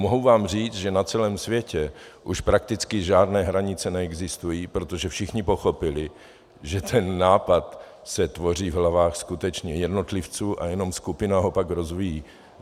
Mohu vám říct, že na celém světě už prakticky žádné hranice neexistují, protože všichni pochopili, že ten nápad se tvoří v hlavách skutečně jednotlivců a jenom skupina ho pak rozvíjí.